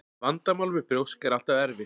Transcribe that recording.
Vandamál með brjósk er alltaf erfitt.